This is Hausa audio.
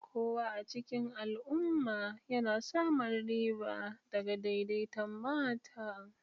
Kowa a cikin al'umma yana samun riba daga daidaiton mata.